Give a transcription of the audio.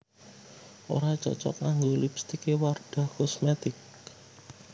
Ora cocok nganggo lipstike Wardah Cosmetic